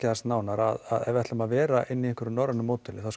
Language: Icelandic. aðeins nánar ef við ætlum að vera inn í einhverju norrænu módeli þá